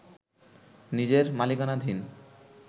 নিজের মালিকানাধীন